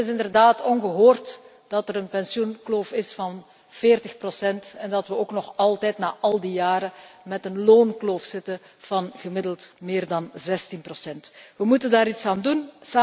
Het is inderdaad ongehoord dat er een pensioenkloof is van 40 procent en dat we ook nog altijd, na al die jaren, met een loonkloof zitten van gemiddeld meer dan 16 procent. We moeten daar iets aan doen.